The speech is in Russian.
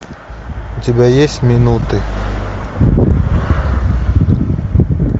у тебя есть минуты